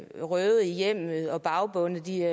berøvet i hjemmet og bagbundet det